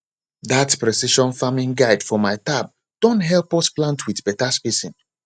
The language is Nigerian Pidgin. that precision farming guide for my tab don help us plant with better spacing